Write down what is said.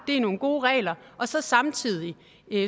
er nogle gode regler og så samtidig